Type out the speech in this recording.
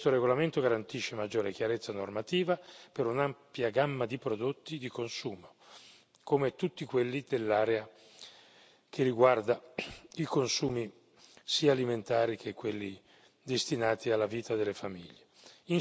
Questo regolamento garantisce maggiore chiarezza normativa per un'ampia gamma di prodotti di consumo, come tutti quelli dell'area che riguarda i consumi sia alimentari che quelli destinati alla vita delle famiglie.